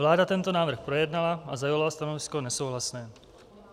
Vláda tento návrh projednala a zaujala stanovisko nesouhlasné.